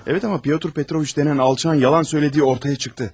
Evet amma Pyotr Petroviç denen alçaq yalan söylədiyi ortaya çıxdı.